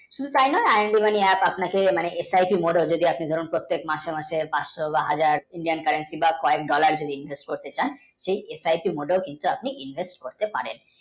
শুধু তাই নয় IMD Money app আপনাকে exciting করতে চান প্রত্তেক মাসে মাসে পাঁচশ বা হাজার Indian currency বা foreign, dollar করতে চান আপনি করতে পারেন